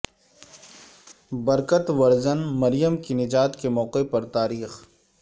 برکت ورجن مریم کی نجات کے موقع پر تاریخ